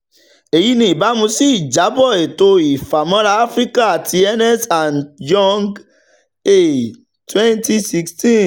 eyi ni ibamu si ijabọ eto ifamọra afirika ti ernst and young a twenty sixteen.